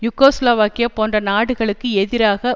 Yugoslavia போன்ற நாடுகளுக்கு எதிராக